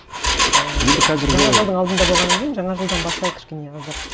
ііі енді қазіргі жаңа жылдың алдында болғаннан кейін жаңа жылдан бастайық кішкене аздап